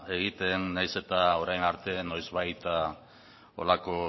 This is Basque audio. egiten nahiz eta orain arte noizbait horrelako